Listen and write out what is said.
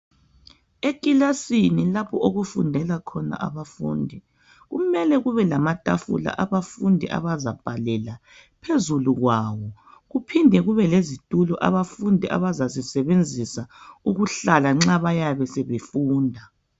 Ikilasini lapho okufundela khona abafundi kumele kube lamatafula abafundi abazabhalela phezulu kwawo. Kuphinde kube lezitulo abafundi abazazisebenzisa ukuhlala nxa bayabe sebefunda.